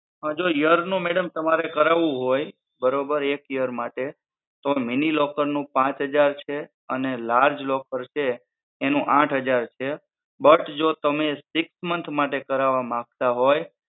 જો year નું તમારે કરાવું હોય તો બરોબર, એક year માટે તો mini locker નું પાંચ હજાર છે અને large locker છે એનું આઠ હજાર છે but જો તમે six month માટે કરાવા માંગતા હોય